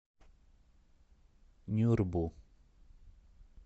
нюрбу